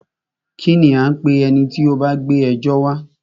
Kínní a ń pé ẹni tí o bá gbé ẹjọ́ wa?